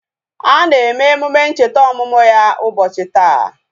A na eme emume ncheta ọmụmụ ya ubochi taa